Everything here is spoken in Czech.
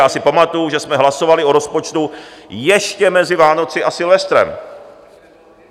Já si pamatuju, že jsme hlasovali o rozpočtu ještě mezi Vánocemi a Silvestrem.